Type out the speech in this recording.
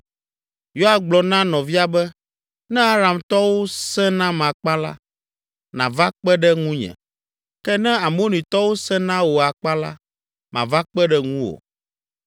Yoab gblɔ na nɔvia be, “Ne Aramtɔwo sẽ nam akpa la, nàva kpe ɖe ŋunye, ke ne Amonitɔwo sẽ na wò akpa la, mava kpe ɖe ŋuwò.